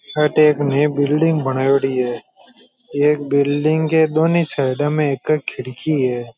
अठ एक में बिल्डिंग बनायेडी है ये बिल्डिंग की दोनों साइड में एक एक खिड़की है।